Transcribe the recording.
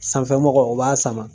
Sanfɛ mɔgɔ o b'a sama